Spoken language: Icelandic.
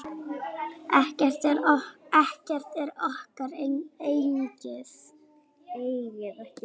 Ekkert er okkar eigið.